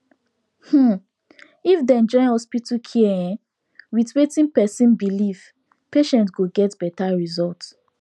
umm if dem join hospital care en with watin person belief patient go get better result